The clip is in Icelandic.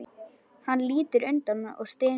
Hann lítur undan og stynur.